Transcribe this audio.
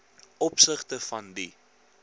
opsigte van die